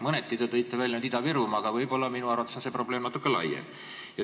Mõneti te tõite välja Ida-Virumaa, aga minu arvates on see probleem natuke laiem.